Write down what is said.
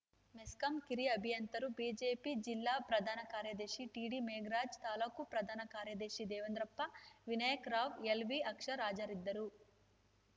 ಮೆಸ್ಕಾಂ ಕಿರಿಯ ಅಭಿಯಂತರರು ಬಿಜೆಪಿ ಜಿಲ್ಲಾ ಪ್ರಧಾನ ಕಾರ್ಯದರ್ಶಿ ಟಿಡಿಮೇಘರಾಜ್‌ ತಾಲ್ಲೂಕು ಪ್ರಧಾನ ಕಾರ್ಯದರ್ಶಿ ದೇವೇಂದ್ರಪ್ಪ ವಿನಾಯಕ ರಾವ್‌ ಎಲ್‌ವಿಅಕ್ಷರ ಹಾಜರಿದ್ದರು